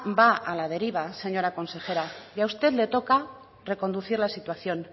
va a la deriva señora consejera y a usted le toca reconducir la situación